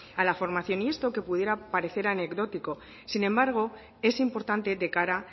a la formación y esto que pudiera parecer anecdótico sin embargo es importante de cara a